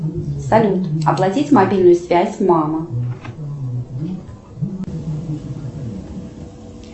салют оплатить мобильную связь мама